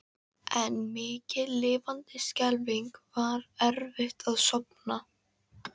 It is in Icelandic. En mikið lifandis skelfing var erfitt að sofna.